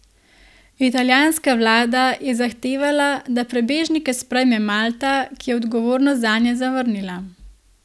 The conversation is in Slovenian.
Italijanska vlada je zahtevala, da prebežnike sprejme Malta, ki je odgovornost zanje zavrnila.